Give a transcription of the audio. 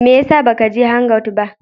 Me ya sa ba ka je hangout ba?